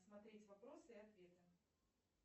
смотреть вопросы и ответы